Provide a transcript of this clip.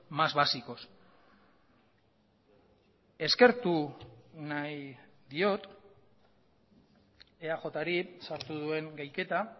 más básicos eskertu nahi diot eajri sartu duen gehiketa